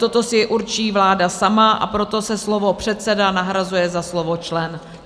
Toto si určí vláda sama, a proto se slovo "předseda" nahrazuje za slovo "člen".